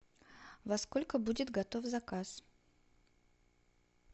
во сколько будет готов заказ